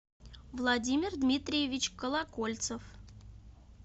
владимир дмитриевич колокольцев